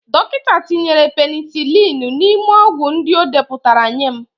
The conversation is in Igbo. Dọkịta tinyere penisilinu n'ime ọgwụ ndị o depụtara nye m.